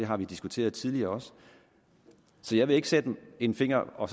har diskuteret tidligere så jeg vil ikke sætte en finger og